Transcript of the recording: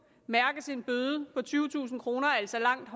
mærkes en bøde på tyvetusind kroner altså langt